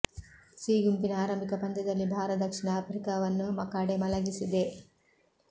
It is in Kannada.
ಸಿ ಗುಂಪಿನ ಆರಂಭಿಕ ಪಂದ್ಯದಲ್ಲಿ ಭಾರ ದಕ್ಷಿಣ ಆಫ್ರಿಕಾವನ್ನು ಮಕಾಡೆ ಮಲಗಿಸಿದೆ